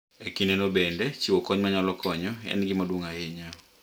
E kindeno bende, chiwo kony ma nyalo konyo en gima duong’ ahinya .